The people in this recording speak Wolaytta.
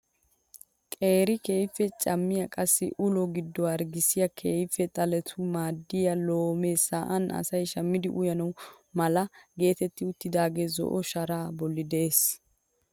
Qeeri keehippe cammiyaa qassi ulo giddo harggiyaassi keehippe xaletettawu maaddiyaa loome sa'an asay shammidi uyana mala getetti uttidaagee zo"o sharaa blli de'ees!